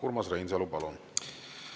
Urmas Reinsalu, palun!